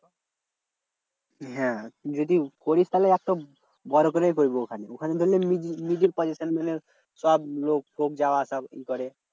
হ্যাঁ তুই যদি করিস তাহলে একটা বড় করেই করবি ওখানে। ওখানে ধরলে middle position মানে সব লোক টোক যাওয়া আসা ই করে।